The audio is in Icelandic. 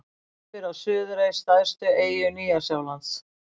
Verpir á Suðurey, stærstu eyju Nýja-Sjálands.